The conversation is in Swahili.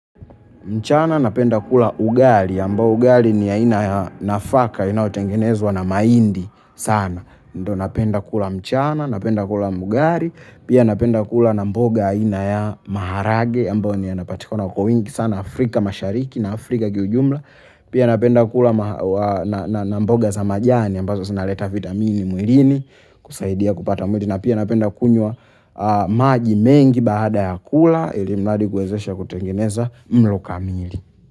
Mchana napenda kula ugali, ambao ugali ni aina ya nafaka, inayotengenezwa na mahindi sana. Ndo napenda kula mchana, napenda kula ugali pia napenda kula na mboga aina ya maharage ambayo ni yanapatikana kwa wingi sana Afrika Mashariki na Afrika kiujumla pia napenda kula na mboga za majani ambazo zinaleta vitamin mwilini kusaidia kupata mwili na pia napenda kunywa maji mengi baada ya kula ili mradi kuwezesha kutengeneza mlo kamili.